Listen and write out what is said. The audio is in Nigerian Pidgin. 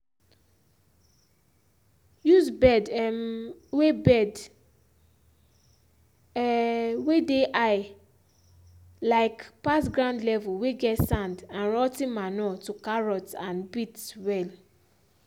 use bed um whey bed um whey dey high um pass ground level whey get sand and rot ten manure to carrots and beets well